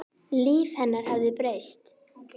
Líf hennar hafði breyst.